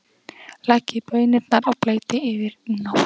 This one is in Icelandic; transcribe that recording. Leggið baunirnar í bleyti yfir nótt.